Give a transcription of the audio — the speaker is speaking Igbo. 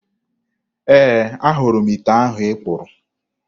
Ee, ahụrụ m ite ahụ ị kpụrụ.